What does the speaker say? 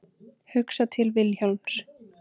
Hugsa til Vilhjálms.